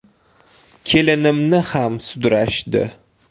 Kelinimni ham sudrashdi.